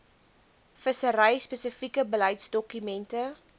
vissery spesifieke beleidsdokumente